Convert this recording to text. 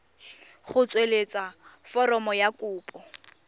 go tsweletsa foromo ya kopo